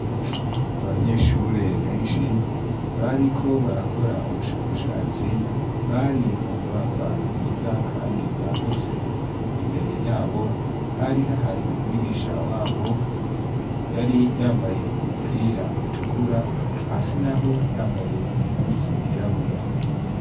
Abanyeshure beshi bariko barakora ubushakashatsi bari mu nyubakwa nziza kandi yagutse imbere yabo harihahari mwigisha wabo yari yambaye umupira utukura hasi naho yari yambaye impuzu yirabura.